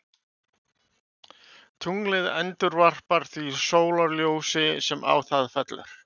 tunglið endurvarpar því sólarljósi sem á það fellur